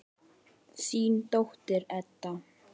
Þín dóttir, Edda.